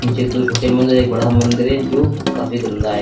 नीचे दो छोटे मंदिर है एक बड़ा मंदिर है जो काफी गंदा है।